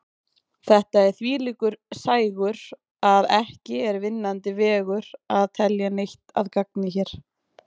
Þetta er þvílíkur sægur að ekki er vinnandi vegur að telja neitt að gagni hér.